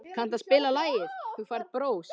Friðjóna, kanntu að spila lagið „Þú Færð Bros“?